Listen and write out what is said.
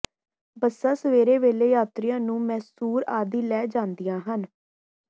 ਬੱਸਾਂ ਸਵੇਰ ਵੇਲੇ ਯਾਤਰੀਆਂ ਨੂੰ ਮੈਸੂਰ ਆਦਿ ਲੈ ਜਾਂਦੀਆਂ ਹਨ